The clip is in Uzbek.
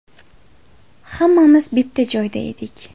Hammamiz bitta joyda edik.